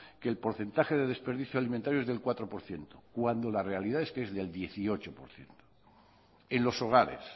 que el porcentaje de desperdicio alimentario es del cuatro por ciento cuando la realidad es que del dieciocho por ciento en los hogares